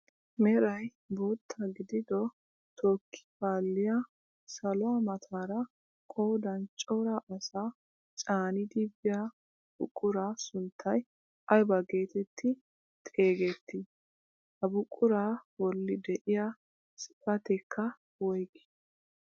Meray bootta gidido tookki paalliyaa saluwaa mataara qoodan cora asaa caanidi biyaa buquraa sunttay aybaa getetti xeegettii? Ha buquraa bolli de'iyaa xifateekka woygii?